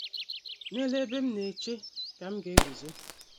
N’ELU ebe m na - eche ka m ga - eguzo.